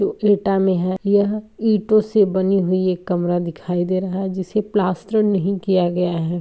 ईटा मे है। यह ईंटों से बनी हुई एक कमरा दिखाई दे रहा है। जिसे प्लास्टर नहीं किया गया है।